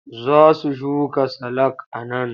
Za su shuka salak a nan.